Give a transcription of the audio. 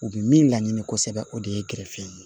U bɛ min laɲini kosɛbɛ o de ye gɛrɛsɛgɛ ye